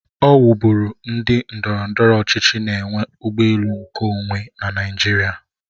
Ọ wu bụrụ ndị ndọrọndọrọ ọchịchị na enwe ụgbọ elu nkeonwe na Naịjirịa.